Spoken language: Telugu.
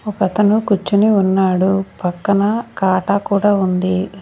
ఒకతను కూర్చొని ఉన్నాడు పక్కనా కాటా కూడా ఉంది.